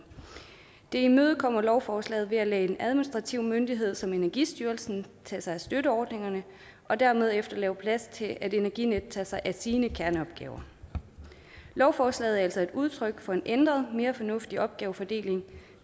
det imødekommer lovforslaget ved at lade en administrativ myndighed som energistyrelsen tage sig af støtteordningerne og dermed efterlade plads til at energinet tager sig af sine kerneopgaver lovforslaget er altså et udtryk for en ændret og mere fornuftig opgavefordeling og